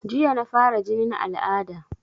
Jiya na fara jinin al'ada